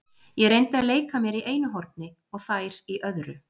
Ég reyndi að leika mér í einu horni og þær í öðru.